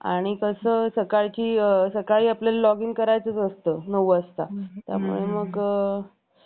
आणि कसं सकाळची सकाळी आपल्याला login करायचं असतं नऊ वाजता त्यामुळे मग